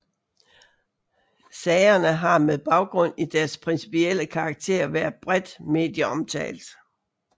Sagerne har med baggrund i deres principielle karakter været bredt medieomtalt